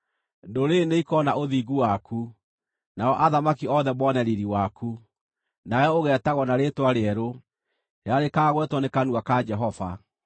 Ndũrĩrĩ nĩikoona ũthingu waku, nao athamaki othe mone riiri waku; nawe ũgeetagwo na rĩĩtwa rĩerũ, rĩrĩa rĩkaagwetwo na kanua ka Jehova.